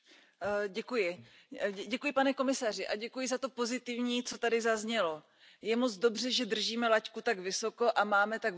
Pane předsedající, pane komisaři, děkuji za to pozitivní, co tady zaznělo. Je moc dobře, že držíme laťku tak vysoko a máme tak velké ambice.